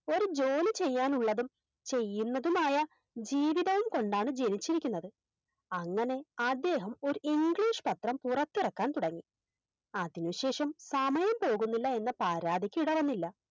ഒരു ജോലി ചെയ്യാനുള്ളതും ചെയ്യുന്നതുമായ ജീവിതം കൊണ്ടാണ് ജനിച്ചിരിക്കുന്നത് അങ്ങനെ അദ്ദേഹം ഒര് English പത്രം പുറത്തിറക്കാൻ തുടങ്ങി അതിനു ശേഷം സമയം പോകുന്നില്ല എന്ന പരാതിക്കിടവന്നില്ല